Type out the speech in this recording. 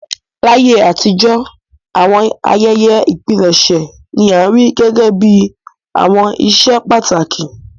Láyé àtijọ́, àwọn ayẹyẹ ìpilẹ̀ṣẹ̀ ni a rí gẹ́gẹ́ bí àwọn íṣe pàtàkì.